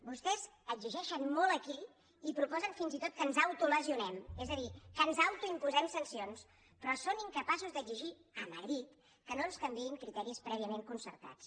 vostès exigeixen molt aquí i proposen fins i tot que ens autolesionem és a dir que ens autoimposem sancions però són incapaços d’exigir a madrid que no ens canviïn criteris prèviament concertats